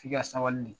F'i ka sabali de